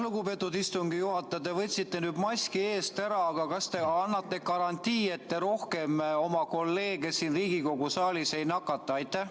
Lugupeetud istungi juhataja, te võtsite nüüd maski eest ära, aga kas te annate garantii, et te rohkem oma kolleege siin Riigikogu saalis ei nakata?